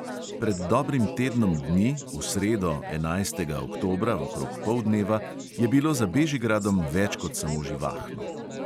Pred dobrim tednom dni, v sredo, enajstega oktobra, okrog poldneva je bilo za bežigradom več kot samo živahno.